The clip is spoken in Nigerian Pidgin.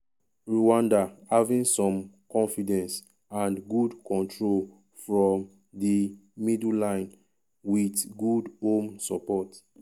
um rwanda having some confidence and good control from di middle line wit good home support. um